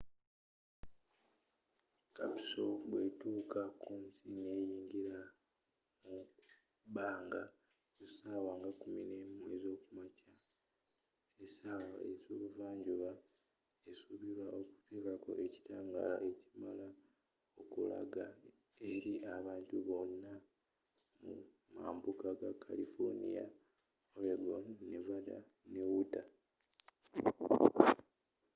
capsule bwe tuuka kunsi neyingira mu bbanga ku sawa nga 11 ezokumakya esawa ze buva njuba esubirwa okutekako ekitangaala ekimala okulaga eri abantu bonna mu mambuuka ga kalifoniya oregon nevanda ne utah